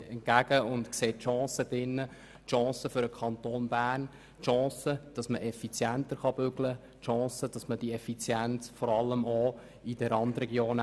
Darin sieht sie eine Chance für den Kanton Bern, eine Chance dafür, effizienter zu arbeiten, und dies vor allem auch in den Randregionen.